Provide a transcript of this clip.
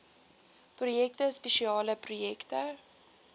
projekte spesiale projekte